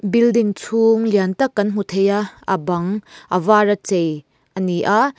building chhung lian tak kan hmu thei a a bang a vara chei a ni a.